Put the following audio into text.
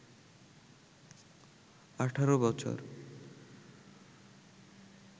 ১৮ বছর